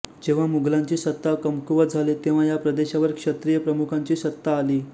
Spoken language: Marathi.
जेव्हा मुघलांची सत्ता कमकुवत झाली तेव्हा या प्रदेशावर क्षत्रिय प्रमुखांची सत्ता आली